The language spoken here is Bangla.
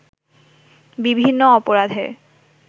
বিভিন্ন অপরাধের